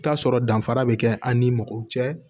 Taa sɔrɔ danfara be kɛ an ni mɔgɔw cɛ